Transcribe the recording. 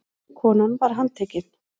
Konan var handtekin